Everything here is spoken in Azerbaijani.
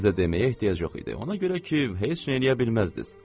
Sizə deməyə ehtiyac yox idi, ona görə ki, heç nə eləyə bilməzdiniz.